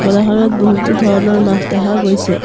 বজাৰখনত বহুতো ধৰণৰ মাছ দেখা গৈছে।